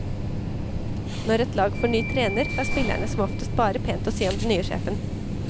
Når et lag får ny trener, har spillerne som oftest bare pent å si om den nye sjefen.